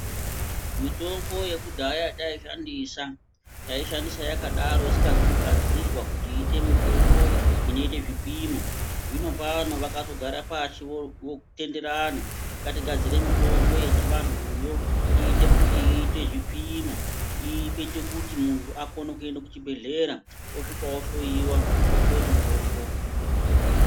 Mitombo yekudhaya yataishandisa, taishandisa yakadaro isingazi kugadzirwa kuti iite mitombo inoitee zvipimo. Zvinopano vakazogara pashi votenderana ngatigadzire mitombo yechiantuyo iite kuti iite zvipimo iite kuti munhu aokone kuenda kuchibhedhlera osvika ohloyiwa onyorerwa mutombo.